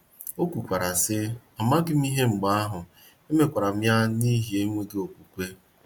O kwukwara, sị: “ Amaghị m ihe mgbe ahụ, emekwara m ya n’ihi enweghị okwukwe. ”